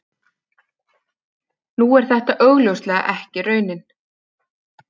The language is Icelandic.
Nú er þetta augljóslega ekki raunin.